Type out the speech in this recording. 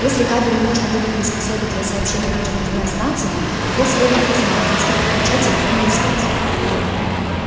если кабель можно будет приспособить для сообщения между тремя станциями его следует разматывать и подключать телефонную связь